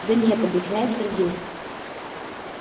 да нет объясняет сергей